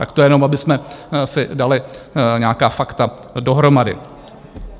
Tak to jenom, abychom si dali nějaká fakta dohromady.